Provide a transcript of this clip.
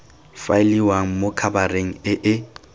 faeliwang mo khabareng e e